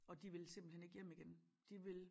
Og de vil simpelthen ikke hjem igen de vil